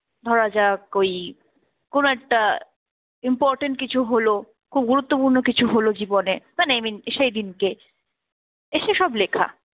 ধরা যাক ওই কোন একটা important কিছু হল, খুব গুরুত্বপূর্ণ কিছু হল জীবনে মানে i mean সেই দিনকে এসে সব লেখা।